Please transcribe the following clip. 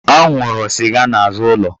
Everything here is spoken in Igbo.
Ọ nwụrụ sịga n'azụ ụlọ